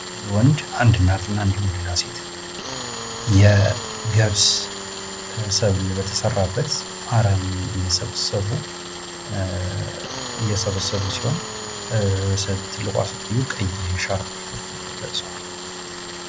ወንድ አንድ እናት እንድሁም እና ሌላሴት የገብስ ሰብል በተዘራበት አረም እየሰበሰቡ ሲሆን ትልቋ ሴትዮ ቀይ ሻርፕ ለብሰዋል።